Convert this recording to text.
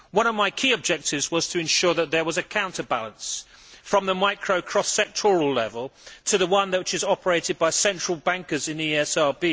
One of my key objectives was to ensure that there was a counterbalance from the micro cross sectoral level to the one which is operated by central bankers in the ESRB.